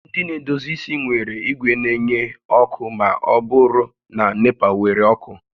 Ndị na-edozi isi nwere igwe na-enye ọkụ ma ọ bụrụ na NEPA were ọkụ